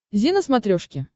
зи на смотрешке